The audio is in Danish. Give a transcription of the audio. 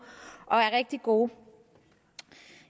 og er rigtig gode